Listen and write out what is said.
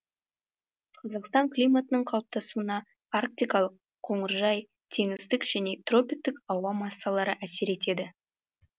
қазақстан климатының қалыптасуына арктикалық қоңыржай теңіздік және тропиктік ауа массалары әсер етеді